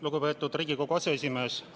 Lugupeetud Riigikogu aseesimees!